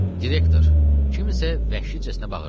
Direktor, kim isə vəhşicəsinə bağırdı.